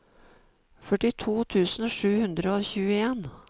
førtito tusen sju hundre og tjueen